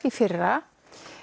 í fyrra